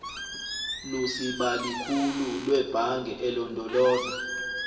lusibalikhulu lwebhange elondoloza